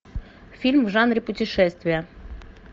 фильм в жанре путешествия